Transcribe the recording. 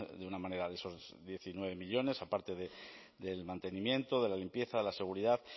de una manera de esos diecinueve millónes aparte del mantenimiento de la limpieza de la seguridad